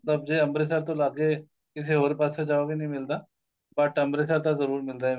ਦਬ ਜੇ ਅੰਮ੍ਰਿਤਸਰ ਤੋਂ ਲਾ ਕੇ ਕਿਸੇ ਹੋਰ ਪਾਸੇ ਜਾਉ ਗੇ ਨਹੀਂ ਮਿਲਦਾ ਬੁਤ ਅੰਮ੍ਰਿਤਸਰ ਤਾਂ ਜਰੂਰ ਮਿਲਦਾ ਈ